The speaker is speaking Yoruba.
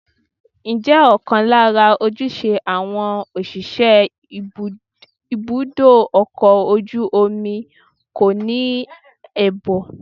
Ǹjẹ́ ọ̀kan lára ojúṣe àwọn òṣìṣẹ́ ibùdó ọkọ̀ ojú omi kọ́ ní ààbò?